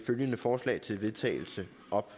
følgende forslag til vedtagelse